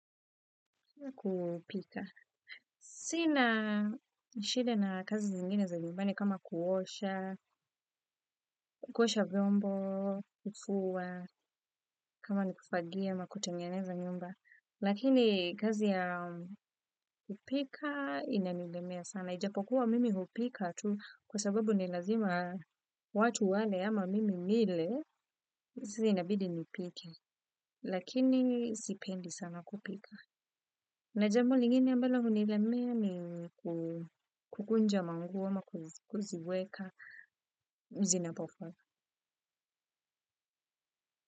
Kupika. Sina shide na kazi zingine za nyumbani kama kuosha, kukosha vyombo, kufua, kama ni kufagia ma kutanyaneza nyumba. Lakini kazi ya kupika inanilemea sana. Ijapokuwa mimi kupika tu kwa sababu ni lazima watu wale ama mimi nile sisi inabidi nipike. Lakini sipendi sana kupika. Na jambo lingine ambalo unilemea ni kukunja manguo ama kuziweka zinapo.